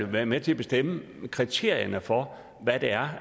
været med til at bestemme kriterierne for hvad det er